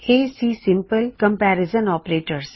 ਇਹ ਸੀ simple comparison operators